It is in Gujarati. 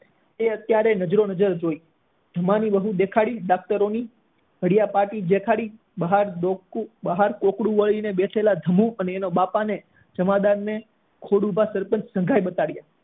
એ અત્યારે નજરો નજર જોઈ હુમા ની વહુ ને દેખાડી દાક્તરો ની ઘડિયા પાટી દેખાડી બહાર ડોકું બહાર કોકડું બહાર ધબુ કરેલા એના બાપા ને જમાદાર ને ખોડુભા એ બહુ સંઘર્ષ દેખાડ્યો